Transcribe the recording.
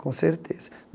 Com certeza.